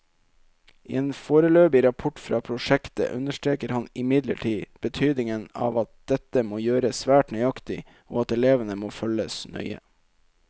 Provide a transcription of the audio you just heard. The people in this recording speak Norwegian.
I en foreløpig rapport fra prosjektet understreker han imidlertid betydningen av at dette må gjøres svært nøyaktig og at elevene må følges nøye.